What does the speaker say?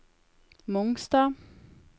Mongstad